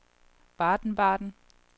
Baden-Baden